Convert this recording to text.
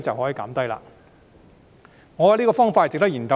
我覺得這個方法值得研究。